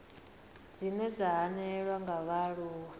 dzine dza hanelelwa nga vhaaluwa